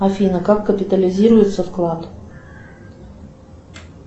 афина как капитализируется вклад